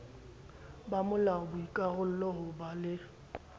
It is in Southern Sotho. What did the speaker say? bomolao boikarallo ho ba le